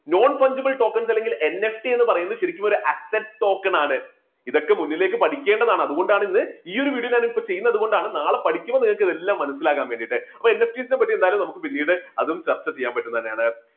nonpunchable tokens അല്ലെങ്കിൽ NFT എന്നു പറയുന്നത് ശരിക്കും ഒരു asset token ആണ്. ഇതൊക്കെ മുന്നിലേക്ക് പഠിക്കേണ്ടതാണ്. അതുകൊണ്ടാണ് ഇത് ഈ ഒരു video ഞാനിപ്പോ ചെയ്യുന്നതുകൊണ്ടാണ് നാളെ പഠിക്കുമ്പോൾ നിങ്ങൾക്ക് ഇതെല്ലാം മനസ്സിലാക്കാൻ വേണ്ടിയിട്ട് അപ്പൊ NST ടീനെപ്പറ്റി പിന്നീട് അതും ചർച്ച ചെയ്യാൻ പറ്റുന്ന ഒന്നന്നെണ്.